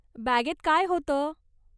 बॅगेत काय होतं?